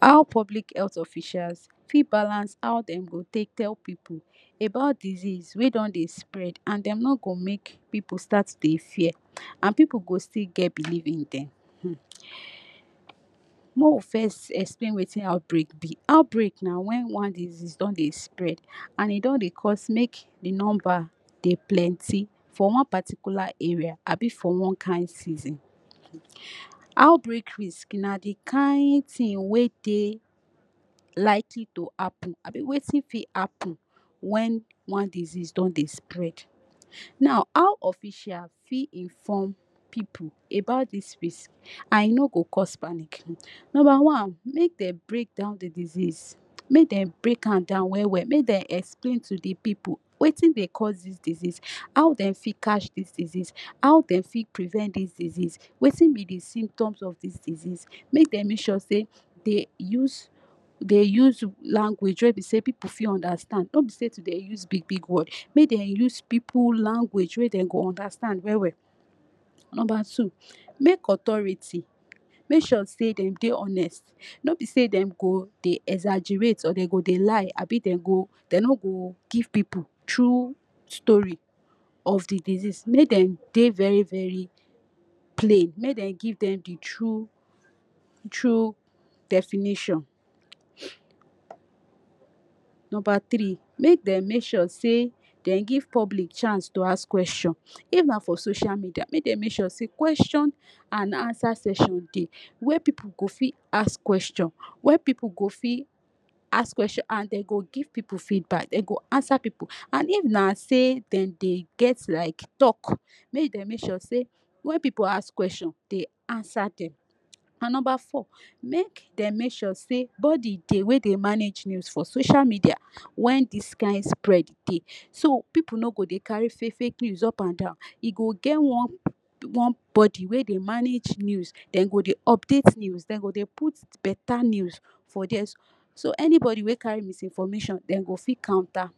How public health officials fit balance hod dem go take tell pipu about disease wey don dey spread and dem no go make pipu start to dey fear and pipu go still get believe in dem um make we first explain watin outbreak be, outbreak na wen somtin spread and e don dey cause make di number dem for one particular area abi for one kain season. Outbreak risk na di kain tin wey dey likely to happen abi watin fit happen wen one disease don dey spread. Now how officials fit inform pipu about dis tins and e no go cause panic, number one make dem break down di disease make dem break am down well well, make dem explain to di pipu watin dey cause dis disease, how dem fit catch dis disease, how dem fit prevent dis disease, watin be di symptoms of dis disease, make dem make sure say dey use dey use language wey be say pipu fit understand no be say to dey use big big word, make dem use pipu language wey dem go understand well well. Make authority make sure say dem dey honest no be say dem go dey exaggerate or dem go dey lie abi demgo dem no go give pipu true story of di disease, make dem dey very very plain make dem give dem di true true definition. Number tiree, make dem make sure say dem give public chance to ask question, if na for social media make dem make sure say question and answer section dey way pipu go wit ask question wia pipu go fit ask question and dey go give pipu feedback dem go answer pipu and if na say dem dey get like talk make dem make sure say wen pipu ask question dey answer dem. And number four, make dem make sure say body dey wey dem manage news for social media when dis kain spread dey so pipu no go dey carry fake fake news up and down, e go get one body wey go dey manage news dem go dey update news dey put beta news for dia so anybody wey cary misinformation dem go fit counter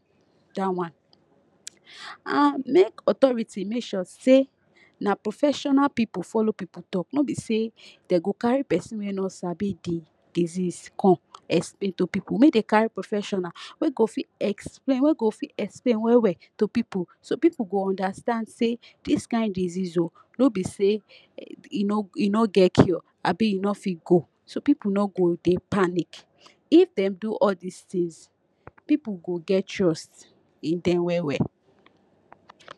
dat one and make authority make sure say na professional pipu follow pipu talk no be say dem, go carry pipu wey no sabi di disease come explain to pipu make dem carry professional wey go fit explain wey go fit explain well well to pipu so pipu go understand say dis kain disease o no be say e no e no get cure abi e no fit go so pipu noo go dey panic. If dem do all dis tins pipu go get trust in dem well well.